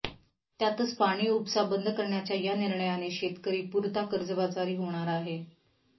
त्यातच पाणी उपसा बंद करण्याच्या या निर्णयाने शेतकरी पुरता कर्जबाजारी होणार आहे